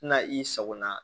Na i sagona